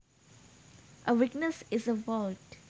A weakness is a fault